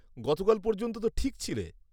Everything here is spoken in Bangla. -গতকাল পর্যন্ত তো ঠিক ছিলে।